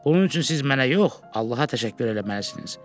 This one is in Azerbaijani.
Bunun üçün siz mənə yox, Allaha təşəkkür eləməlisiniz.